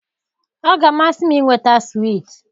Ọ ga-amasị m ịnweta swiiti.